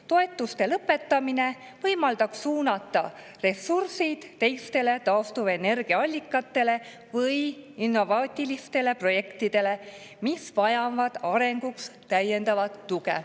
Toetuste lõpetamine võimaldab suunata ressursid teistele taastuvenergiaallikatele või innovaatilistele projektidele, mis vajavad arenguks täiendavat tuge.